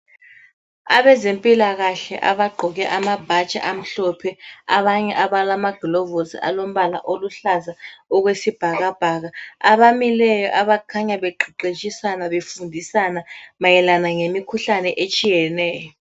Abazempilakahle abagqoke amabhatshi amhlophe abanye abalama gilovisi alombala oluhlaza okwe sibhakabhaka abamileyo abakhanya beqeqetshisana befundisana mayelana ngemikhuhlane etshiyeneyo.